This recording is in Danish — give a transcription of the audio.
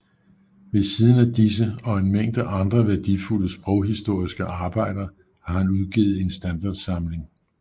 Ved Siden af disse og en Mængde andre værdifulde sproghistoriske Arbejder har han udgivet en Standardsamling af russ